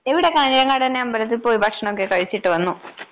ഇവിടെ കാഞ്ഞിരങ്ങാട് തന്നെ അമ്പലത്തിൽ പോയി ഭക്ഷണൊക്കെ കഴിച്ചിട്ട് വന്നു.